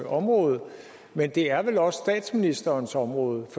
område men det er vel også statsministerens område og